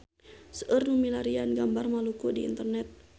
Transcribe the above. Seueur nu milarian gambar Maluku di internet